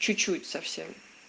чуть-чуть совсем